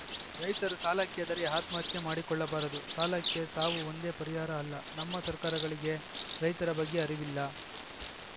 ರೈತರು ಸಾಲಕ್ಕೆ ಹೆದರಿ ಆತ್ಮಹತ್ಯೆ ಮಾಡಿಕೊಳ್ಳಬಾರದು ಸಾಲಕ್ಕೆ ಸಾವು ಒಂದೇ ಪರಿಹಾರ ಅಲ್ಲ ನಮ್ಮ ಸರ್ಕಾರಗಳಿಗೆ ರೈತರ ಬಗ್ಗೆ ಅರಿವಿಲ್ಲ